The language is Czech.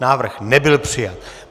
Návrh nebyl přijat.